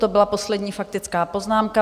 To byla poslední faktická poznámka.